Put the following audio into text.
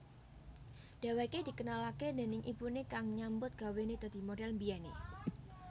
Dheweké dikenalaké déning ibuné kang nyambut gawené dadi modhel mbiyené